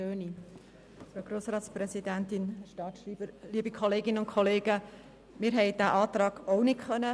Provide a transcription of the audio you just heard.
Auch wir haben den Antrag nicht in der Fraktion besprechen können.